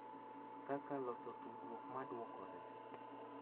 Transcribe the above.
Kaka loso tudruok ma dwokore.